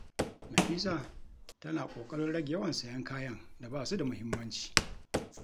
Nafisa tana ƙoƙarin rage yawan sayen kayan da ba su da muhimmanci.